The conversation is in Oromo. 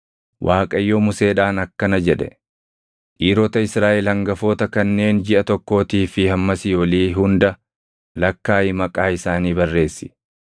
Waaqayyo Museedhaan akkana jedhe; “Dhiirota Israaʼel hangafoota kanneen jiʼa tokkootii fi hammasii olii hunda lakkaaʼii maqaa isaanii barreessi.